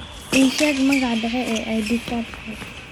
ii sheeg magaca dhexe ee edie gathie